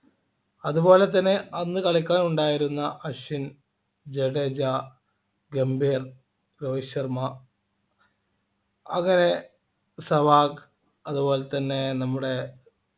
അതുപോലെതന്നെ അന്ന് കളിക്കാൻ ഉണ്ടായിരുന്ന അശ്വിൻ ജഡേജ ഗംഭീർ രോഹിത് ശർമ അങ്ങനെ സെവാഗ് അതുപോലെതന്നെ നമ്മുടെ